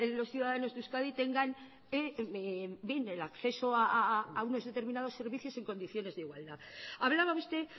los ciudadanos de euskadi tengan bien el acceso a unos determinados servicios en condiciones de igualdad hablaba usted